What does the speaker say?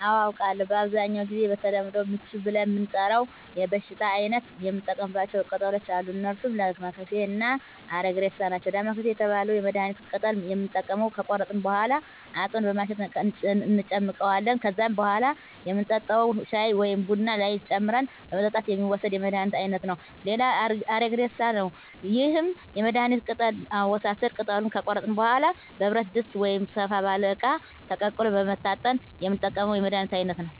አዎ አውቃለሁ በአብዛኛው ጊዜ በተለምዶ ምች ብለን ለምንጠራው የበሽታ አይነት የምንጠቀማቸው ቅጠሎች አሉ እነርሱም ዳማከሴ እና አረግሬሳ ናቸው ዳማከሴ የተባለውን የመድሀኒት ቅጠል የምንጠቀመው ከቆረጥን በኋላ አጥበን በማሸት እንጨምቀዋለን ከዛም በኋላ የምንጠጣው ሻይ ወይም ቡና ላይ ጨምረን በመጠጣት የሚወሰድ የመድሀኒት አይነት ነው ሌላው አረግሬሳ ነው ይህም የመድሀኒት ቅጠል አወሳሰድ ቅጠሉን ከቆረጥን በኋላ በብረት ድስት ወይም ሰፋ ባለ እቃ ተቀቅሎ በመታጠን የምንጠቀመው የመድሀኒት አይነት ነው